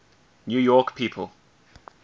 new york people